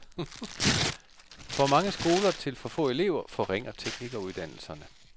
For mange skoler til for få elever forringer teknikeruddannelserne.